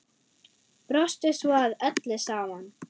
Brostu svo að öllu saman.